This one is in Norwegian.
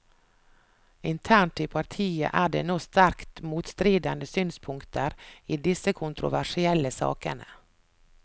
Internt i partiet er det nå sterkt motstridende synspunkter i disse kontroversielle sakene.